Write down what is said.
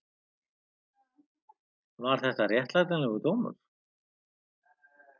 Var þetta réttlætanlegur dómur?